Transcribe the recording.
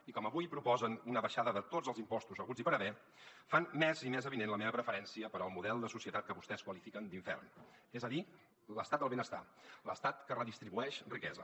i com que avui proposen una baixada de tots els impostos haguts i per haver fan més i més avinent la meva preferència pel model de societat que vostès qualifiquen d’ infern és a dir l’estat del benestar l’estat que redistribueix riquesa